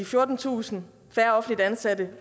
fjortentusind færre offentligt ansatte